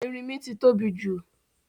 Erínmí ti tóbi jù